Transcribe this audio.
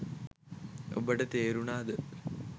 ඔබට තේරුනාද